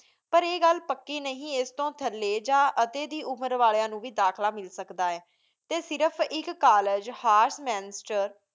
ਪਰ ਆਹੀ ਘੁਲ ਪਕੀ ਨੀ ਏਸ ਤੂੰ ਥਾਲੀ ਯਾ ਅਠੀ ਦੀ ਉਮੇਰ ਵਾਲੇਆਯਨ ਨੂ ਵੇ ਦਾਖਲਾ ਮਿਲ ਸਕਦਾ ਆਯ ਟੀ ਸਿਰਫ ਏਕ College ਹਾਫ਼ ਮੰਸ੍ਟਰ